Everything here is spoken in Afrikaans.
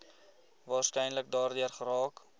waarskynlik daardeur geraak